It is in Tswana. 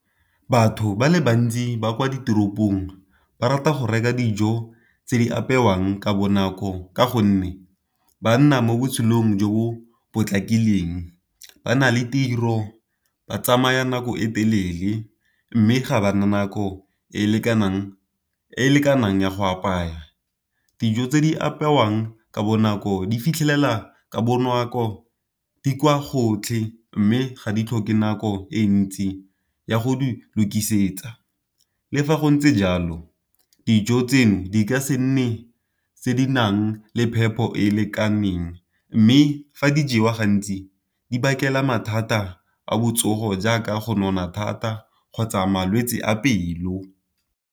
Batho ba le bantsi ba kwa ditoropong ba rata go reka dijo tse di apewang ka bonako, ka gonne ba nna mo botshelong jo bo potlakileng. Ba na le tiro, ba tsamaya nako e telele, mme ga ba na nako e e lekanang ya go apaya. Dijo tse di apewang ka bonako di fitlhelela ka bonako, di kwa gotlhe, mme ga di tlhoke nako e ntsi ya go di lokisetsa. Le fa go ntse jalo dijo tseno di ka se nne tse di nang le phepo e e lekaneng, mme fa di jewa gantsi di bakela mathata a botsogo jaaka go nona thata kgotsa malwetse a pelo.